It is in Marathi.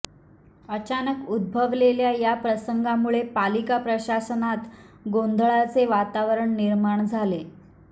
अचानक उद्भवलेल्या या प्रसंगामुळे पालिका प्रशासनात गोंधळाचे वातावरण निर्माण झाले